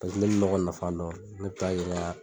o le bi nɔgɔ nafa dɔn ne bi taa'a yira